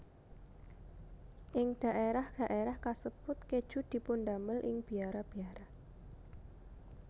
Ing dhaérah dhaérah kasebut kèju dipundamel ing biara biara